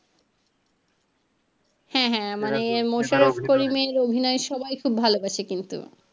হ্যাঁ হ্যাঁ মানে অভিনয় সবাই খুব ভালো করছে কিন্তু।